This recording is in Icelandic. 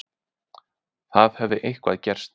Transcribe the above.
Það hafði eitthvað gerst.